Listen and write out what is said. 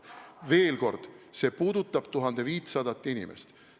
Veel kord: see puudutab 1500 inimest.